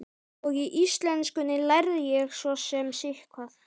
Og í íslenskunni lærði ég svo sem sitthvað.